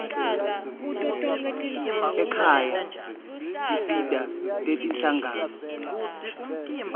ekhaya tinsita tetinhlangano